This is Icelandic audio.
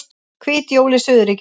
Hvít jól í suðurríkjunum